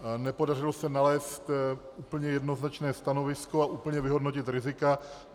Nepodařilo se nalézt úplně jednoznačné stanovisko a úplně vyhodnotit rizika.